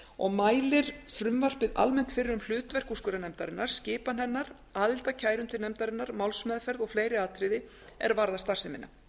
og mælir frumvarpið almennt fyrir um hlutverk úrskurðarnefndarinnar skipan hennar aðild að kærum til nefndarinnar málsmeðferð og fleiri atriði er varða starfsemina